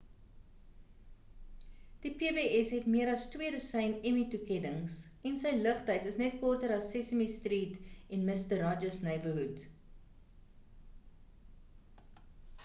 die pbs het meer as twee dosyn emmy toekennings en sy lugtyd is net korter as sesame street en mister rogers' neighborhood